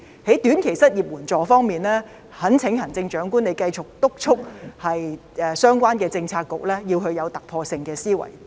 在短期失業援助方面，懇請行政長官繼續督促相關政策局要有突破性思維。